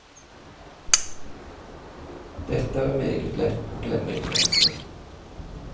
Dette er meget lett å glemme i trengselen.